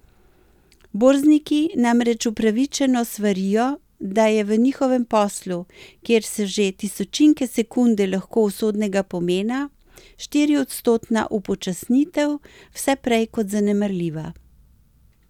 Borzniki namreč upravičeno svarijo, da je v njihovem poslu, kjer so že tisočinke sekunde lahko usodnega pomena, štiriodstotna upočasnitev vse prej kot zanemarljiva.